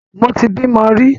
Mo ti bímo rí.